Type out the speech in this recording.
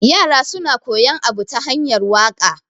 yara suna koyan Abu ta hanyar waka